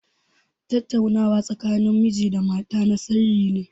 Tattaunawa tsakanin miji da mata na sirri ne.